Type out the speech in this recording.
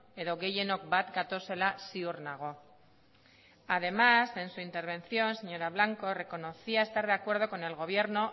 edo gehienok bat gatozela ziur nago además en su intervención señora blanco reconocía estar de acuerdo con el gobierno